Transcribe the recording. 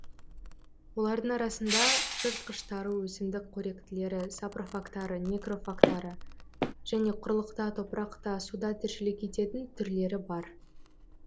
олардың арасында жыртқыштары өсімдік қоректілері сапрофагтары некрофагтары және құрлықта топырақта суда тіршілік ететін түрлері бар